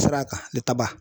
Sara kan